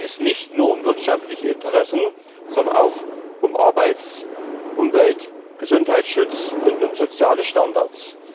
Da geht es nicht nur um wirtschaftliche Interessen, sondern auch um Arbeits Umwelt Gesundheitsschutz und um soziale Standards.